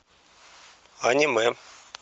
аниме